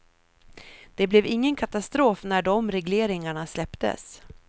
Det blev ingen katastrof när de regleringarna släpptes.